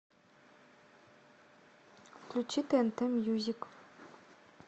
включи тнт мьюзик